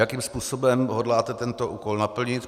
Jakým způsobem hodláte tento úkol naplnit?